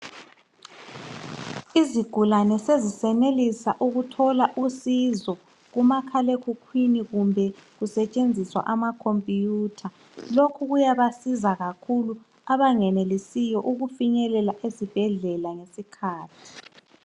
izigulane sezisenelisa ukuthola usizo kumakhala ekhukhwini kumbe kusetshenziswa ama computer kuyabasiza kakhulu abengenelisiyo ukufinyelela esibhedlela ngesikhathi